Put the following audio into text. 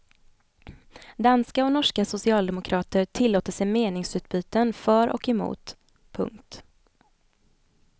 Danska och norska socialdemokrater tillåter sig meningsutbyten för och emot. punkt